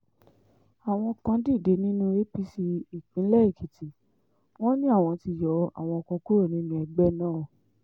àwọn kan dìde nínú apc ìpínlẹ̀ èkìtì wọn ni àwọn ti yọ àwọn kan kúrò nínú ẹgbẹ́ náà